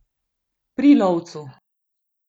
Pri lovcu.